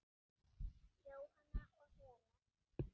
Jóhanna og Hera.